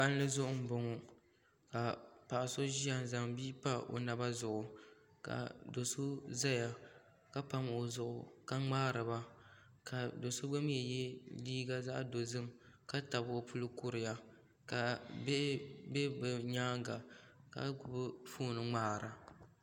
Palli zuɣu n boŋo ka paɣa so ʒiya n zaŋ bia pa o naba zuɣu ka do so ʒɛya ka pam o zuɣu ka ŋmaariba ka do so gba mii yɛ liiga zaɣ dozim ka tabi o zuɣu kuriya ka bihi gba bɛ bi nyaanga ka gbubi foon n ŋmaara